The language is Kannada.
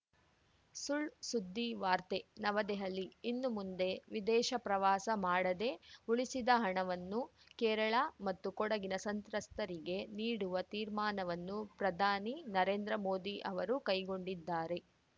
ಸುಳ್‌ಸುದ್ದಿ ವಾರ್ತೆ ನವದೆಹಲಿ ಇನ್ನು ಮುಂದೆ ವಿದೇಶ ಪ್ರವಾಸ ಮಾಡದೇ ಉಳಿಸಿದ ಹಣವನ್ನು ಕೇರಳ ಮತ್ತು ಕೊಡಗಿನ ಸಂತ್ರಸ್ತರಿಗೆ ನೀಡುವ ತೀರ್ಮಾನವನ್ನು ಪ್ರಧಾನಿ ನರೇಂದ್ರ ಮೋದಿ ಅವರು ಕೈಗೊಂಡಿದ್ದಾರೆ